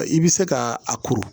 I bɛ se ka a kuru